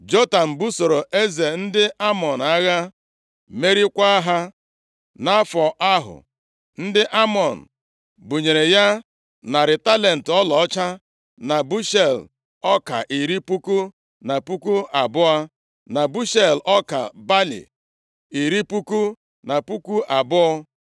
Jotam busoro eze ndị Amọn agha, meriekwa ha. Nʼafọ ahụ, ndị Amọn bunyere ya narị talenti ọlaọcha, na bushel ọka iri puku na puku abụọ, na bushel ọka balị iri puku na puku abụọ.